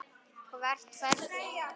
Hvert ferðu nú?